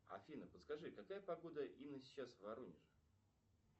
афина подскажи какая погода именно сейчас в воронеже